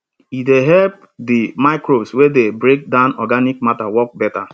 e dey help di microbes wey dey break down organic matter work better